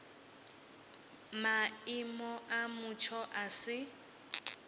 maimo a mutsho a si